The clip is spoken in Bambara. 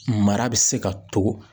Mara bɛ se ka to.